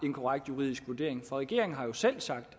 en korrekt juridisk vurdering for regeringen har jo selv sagt